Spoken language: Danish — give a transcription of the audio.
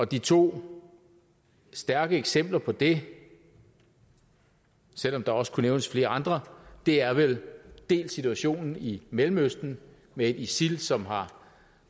de to stærke eksempler på det selv om der også kunne nævnes flere andre er vel dels situationen i mellemøsten med isil som har